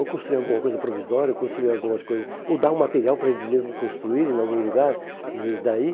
Ou construir alguma coisa provisória, ou construir algumas coisas ou dar um material para eles mesmos construírem em algum lugar. E daí